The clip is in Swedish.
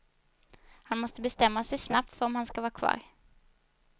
Han måste bestämma sig snabbt för om han ska vara kvar.